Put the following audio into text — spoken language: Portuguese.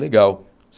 Legal.